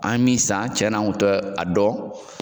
An ye min san , cɛn na an kun tɛ a dɔn.